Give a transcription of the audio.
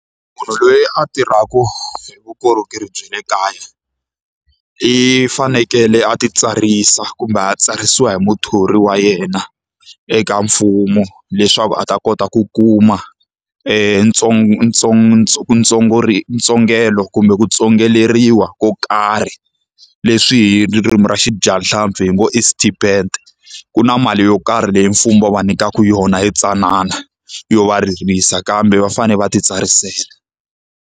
Munhu loyi a tirhaka hi vukorhokeri bya le kaya, i fanekele a ti tsarisa kumbe a tsarisiwa hi muthori wa yena eka mfumo leswaku a ta kota ku kuma ntsongelo kumbe ku tsongoleriwa ko karhi, leswi hi ririmi ra vadyahlampfi hi ngo i stipend. Ku na mali yo karhi leyi mfumo va nyikaka yona yi tsanana, yo va ririsa kambe va fanele va ti tsarisela.